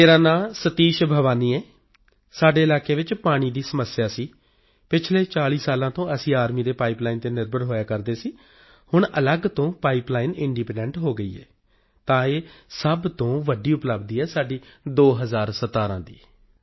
ਮੇਰਾ ਨਾਂ ਸਤੀਸ਼ ਬੇਵਾਨੀ ਹੈ ਸਾਡੇ ਇਲਾਕੇ ਚ ਪਾਣੀ ਦੀ ਸਮੱਸਿਆ ਸੀ ਪਿਛਲੇ 40 ਸਾਲਾਂ ਤੋਂ ਅਸੀਂ ਆਰਮੀ ਦੇ ਪਾਈਪ ਲਾਈਨ ਉੱਪਰ ਨਿਰਭਰ ਕਰਦੇ ਸੀ ਹੁਣ ਵੱਖਰੀ ਪਾਈਪ ਲਾਈਨ ਸ਼ੁਰੂ ਹੋਈ ਹੈ ਇੰਡੀਪੈਂਡੈਂਟ ਤਾਂ ਇਹ ਵੱਡੀ ਪ੍ਰਾਪਤੀ ਹੈ ਸਾਡੀ 2017 ਚ